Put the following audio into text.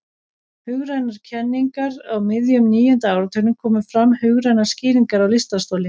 hugrænar kenningar á miðjum níunda áratugnum komu fram hugrænar skýringar á lystarstoli